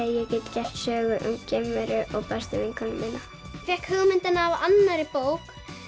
ég get gert sögu um geimveru og bestu vinkonu mína ég fékk hugmyndina af annarri bók